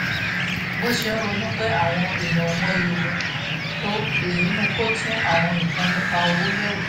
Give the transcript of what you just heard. bó ṣe ń ronú pé àwọn èèyàn ò mọyì òun tó èyí mú kó tún àwọn nǹkan nípa owó yẹ̀wò